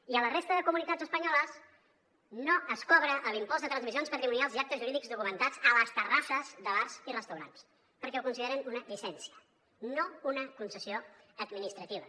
i a la resta de comunitats espanyoles no es cobra l’impost de transmissions patrimonials i actes jurídics documentats a les terrasses de bars i restaurants perquè ho consideren una llicència no una concessió administrativa